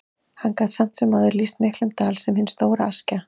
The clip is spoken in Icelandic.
Hann gat samt sem áður lýst miklum dal, sem er hin stóra Askja.